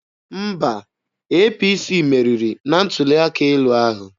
Mba, APC meriri na ntuli aka elu ahụ.